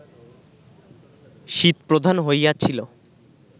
শীতপ্রধান হইয়াছিল